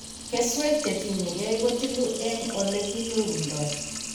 Keswek chetinyegei kotilu en oleginyorunda